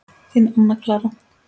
Þín, Anna Clara.